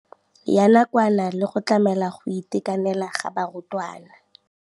ya nakwana le go tlamela go itekanela ga barutwana.